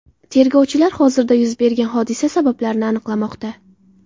Tergovchilar hozirda yuz bergan hodisa sabablarini aniqlamoqda.